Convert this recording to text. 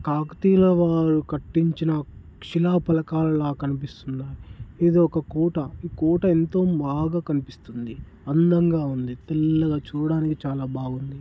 కాకతీయ భవనాలను కట్టించిన శిలపలకాలల కనిపిస్తున్నాయి ఇది ఒక కోట- కోట ఎంతో బాగా కనిపిస్తున్నది అందంగా ఉంది తెల్లగా చూడడానికి చాలా బాగుంది.